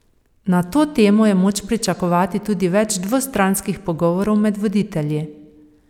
Na to temo je moč pričakovati tudi več dvostranskih pogovorov med voditelji.